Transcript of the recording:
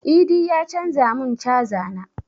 Idi ya canza mun caza na